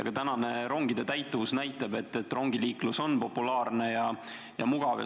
Ka tänane rongide täituvus näitab, et rongiliiklus on populaarne ja mugav.